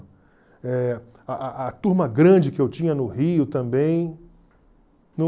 Eh a a a turma grande que eu tinha no Rio também, não...